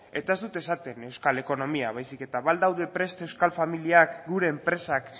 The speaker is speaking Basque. ez dut esaten euskal ekonomia baizik eta ba al daude prest euskal familiak gure enpresak